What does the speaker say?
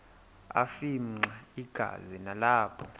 afimxa igazi nalapho